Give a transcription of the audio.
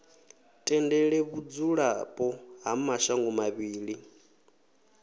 tendele vhudzulapo ha mashango mavhili